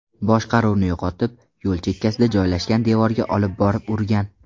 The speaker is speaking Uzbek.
boshqaruvni yo‘qotib, yo‘l chekkasida joylashgan devorga olib borib urgan.